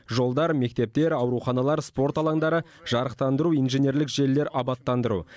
жолдар мектептер ауруханалар спорт алаңдары жарықтандыру инженерлік желілер абаттандыру